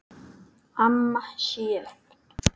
Amma Sjöfn.